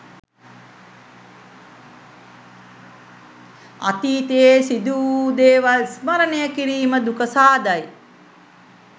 අතීතයේ සිදුවූ දේවල් ස්මරණය කිරීම දුක සාදයි